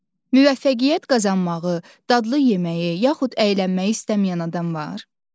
Müvəffəqiyyət qazanmağı, dadlı yeməyi yaxud əylənməyi istəməyən adam var?